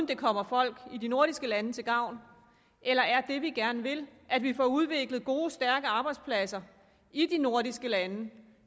det kommer folk i de nordiske lande til gavn eller er det vi gerne vil at vi får udviklet gode stærke arbejdspladser i de nordiske lande